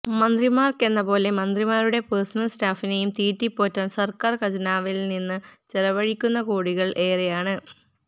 മന്ത്രിമാര്ക്കെന്ന പോലെ മന്ത്രിമാരുടെ പേഴ്സനല് സ്റ്റാഫിനെയും തീറ്റിപ്പോറ്റാന് സര്ക്കാര് ഖജനാവില് നിന്ന് ചെലവഴിക്കുന്ന കോടികളും ഏറെയാണ്